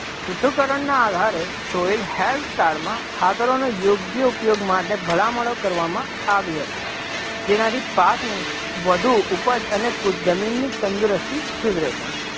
પૃથ્થકરણના આધારે health કારમાં ખાતરોનો યોગ્ય ઉપયોગ માટે ભલામણો કરવામાં આવી હતી, જેનાથી પાકની વધુ ઉપજ અને જમીનની તંદુરસ્તી સુધરે છે,